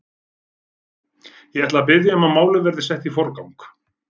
Ég ætla að biðja um að málið verði sett í forgang.